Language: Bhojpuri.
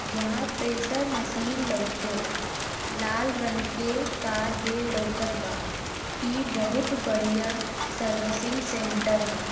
जहां प्रेशर मशीन लोकेला लाल रंग के कार भी लउकत बा इ बोहोत बढ़िया सर्विसिंग सेंटर है।